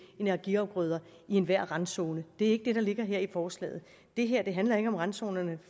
energiafgrøder i enhver randzone det er ikke det der ligger her i forslaget det her handler ikke om randzonerne